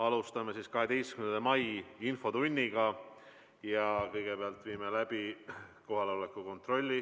Alustame 12. mai infotundi ja kõigepealt viime läbi kohaloleku kontrolli.